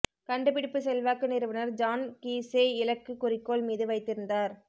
கண்டுபிடிப்பு செல்வாக்கு நிறுவனர் ஜான் கீஸ்ஸே இலக்கு குறிக்கோள் மீது வைத்திருந்தார்